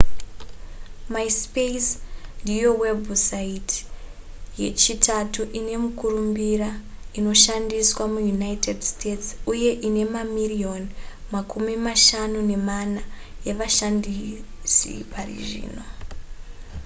myspace ndiyo webhusaiti yechitatu ine mukurumbira inoshandisiwa muunited states uye ine mamirioni makumi mashanu nemana evashandisi pari zvino